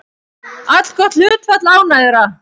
Allgott hlutfall ánægðra